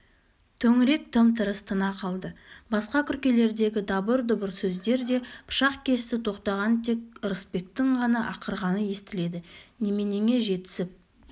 төңірек тым-тырыс тына қалды басқа күркелердегі дабыр-дұбыр сөздер де пышақ кесті тоқтаған тек ырысбектің ғана ақырғаны естіледі неменеңе жетісіп